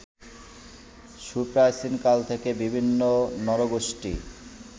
সুপ্রাচীনকাল থেকে বিভিন্ন নরগোষ্ঠী